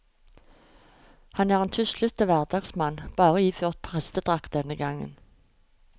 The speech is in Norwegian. Han er en tuslete hverdagsmann, bare iført prestedrakt denne gang.